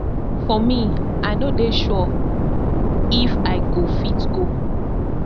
for me i no dey sure if i go fit go